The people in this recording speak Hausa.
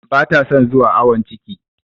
Ba ta son zuwa awon ciki.